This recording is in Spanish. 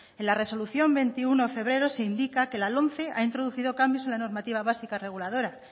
en la resolución veintiuno de febrero se indica que la lomce ha introducido cambios en la normativa básica reguladora